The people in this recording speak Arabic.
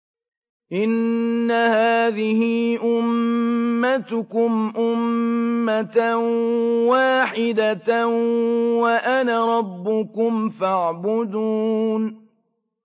إِنَّ هَٰذِهِ أُمَّتُكُمْ أُمَّةً وَاحِدَةً وَأَنَا رَبُّكُمْ فَاعْبُدُونِ